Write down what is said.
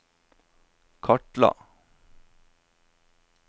kartla